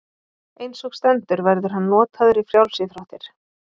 Eins og stendur verður hann notaður í frjálsíþróttir.